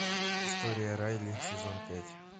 история райли сезон пять